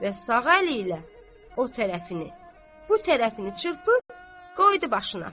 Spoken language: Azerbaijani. Və sağ əli ilə o tərəfini, bu tərəfini çırpıb qoydu başına.